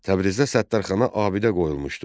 Təbrizdə Səttarxana abidə qoyulmuşdu.